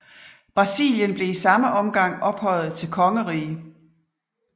Brasilien blev i samme omgang ophøjet til kongerige